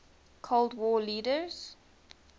cold war leaders